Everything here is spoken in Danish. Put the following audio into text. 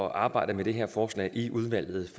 at arbejde med det her forslag i udvalget